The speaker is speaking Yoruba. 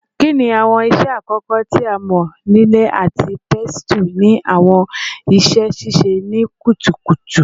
Kini awọn iṣẹ akọkọ ti amọ-lile ati pestle ni awọn iṣe sise ni kutukutu?